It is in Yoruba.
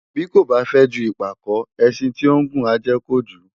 Bí kò fę ju ìpàkó, ęşin tí ó ngùn á ję kojū